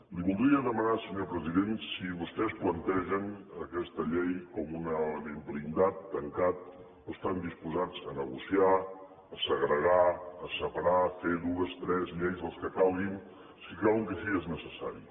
li voldria demanar senyor president si vostès plantegen aquesta llei com un element blindat tancat o estan disposats a negociar a segregar a separar a fer dues tres lleis les que calguin si creuen que així és necessari